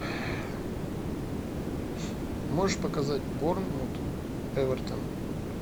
можешь показать борнмут эвертон